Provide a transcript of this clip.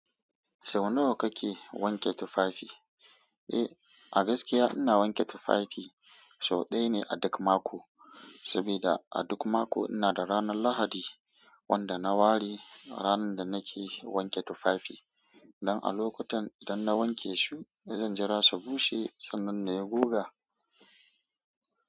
Sau nawa kake wanke tufafi? Eh, a gaskiya ina wanke tufafi sau ɗaya ne a duk mako, saboda a duk mako ina da ranar Lahadi wanda na wari, ranar da nake wanke tufafi. Don a lokutan idan na wanke su, zan jira su bushe sannan na goga.